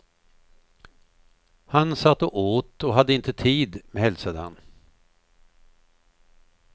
Han satt och åt och hade inte tid, hälsade han.